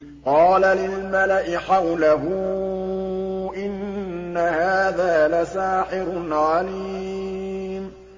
قَالَ لِلْمَلَإِ حَوْلَهُ إِنَّ هَٰذَا لَسَاحِرٌ عَلِيمٌ